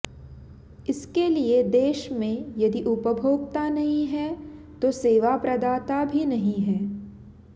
इसके लिए देश में यदि उपभोक्ता नहीं है तो सेवा प्रदाता भी नहीं है